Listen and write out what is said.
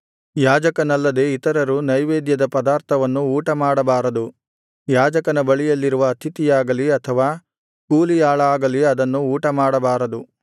ಯಾಜಕನಲ್ಲದೆ ಇತರರು ನೈವೇದ್ಯದ ಪದಾರ್ಥವನ್ನು ಊಟಮಾಡಬಾರದು ಯಾಜಕನ ಬಳಿಯಲ್ಲಿರುವ ಅತಿಥಿಯಾಗಲಿ ಅಥವಾ ಕೂಲಿಯಾಳಾಗಲಿ ಅದನ್ನು ಊಟಮಾಡಬಾರದು